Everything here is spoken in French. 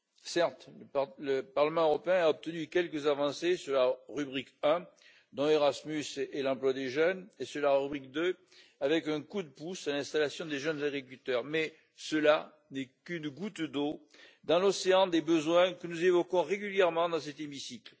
Certes, le Parlement européen a obtenu quelques avancées sur la rubrique 1, dont Erasmus et l'emploi des jeunes, et sur la rubrique 2, avec un coup de pouce à l'installation des jeunes agriculteurs, mais cela n'est qu'une goutte d'eau dans l'océan des besoins que nous évoquons régulièrement dans cet hémicycle.